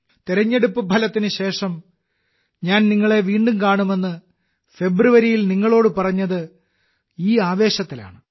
തെരഞ്ഞെടുപ്പ് ഫലത്തിന് ശേഷം ഞാൻ നിങ്ങളെ വീണ്ടും കാണുമെന്ന് ഫെബ്രുവരിയിൽ നിങ്ങളോട് പറഞ്ഞത് ഈ ആവേശത്തിലാണ്